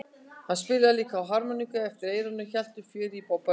Hann spilaði líka á harmoníku eftir eyranu og hélt uppi fjöri á böllum.